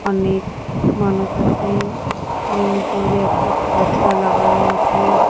অনেক মানুষ আছে এবং দূরে একটা পর্দা লাগানো আসে ওখ--